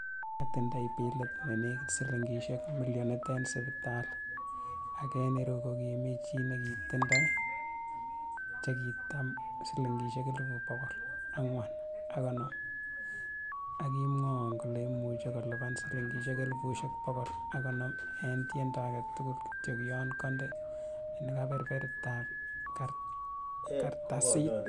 "Kiotindoi bilit ne nekit silingisiek milionit en sipitali, ak en ireu kokimi chi nekitindoi chekitab silingisiek elfusiek bogol ang'wan ak konoom, ak kimwowon kole imuche kolipanan silingisiek elfusiek bogol ak konoom en tiendo agetugul, kityok yon konde sein keberbertab kartasit."